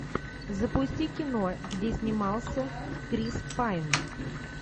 запусти кино где снимался крис пайн